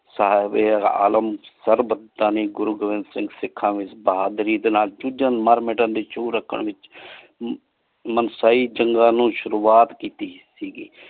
ਸਾਹਿਬ ਏ ਆਲਮ ਸਰਬਤ ਦਾਨੀ ਗੁਰੁ ਗੋਬਿੰਦ ਸਿੰਘ ਸਿਖਾ ਵਿਚ ਬਹਾਦੁਰੀ ਦੇ ਨਾਲ ਜੂਜਨ ਮਰ ਮਿਟਣ ਦੀ ਜੂ ਰੱਖਣ ਵਿਚ ਮਾਨਸਾਈ ਜੰਗਾਂ ਨੂ ਸ਼ੁਰੁਵਾਤ ਕੀਤੀ ਸੀਗੀ।